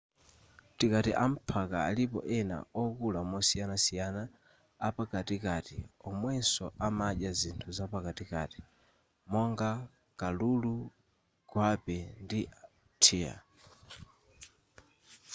tikati amphaka alipo ena okula mosiyanasiyana apakatikati omwenso amadya zinthu zapakatikati monga kalulu gwape ndi deer